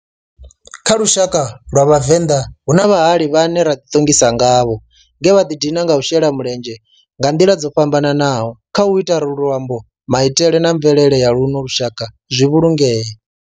Kha lushaka lwa Vhavenḓa, hu na vhahali vhane ra di tongisa ngavho nge vha di dina nga u shela mulenzhe nga nḓila dzo fhambananaho khau ita uri luambo, maitele na mvelele ya luno lushaka zwi vhulungee.